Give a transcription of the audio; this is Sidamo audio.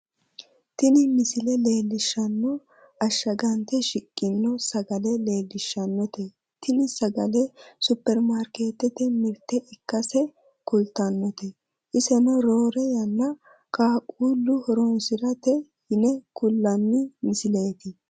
tini misile leellishshanno ashshagante shiqqinota sagale leellishshannote tini sagalenosupperimarkeettete mirte ikkase kultannote iseno roore yanna qaqquullu horonsirannote yine kullanni misileeti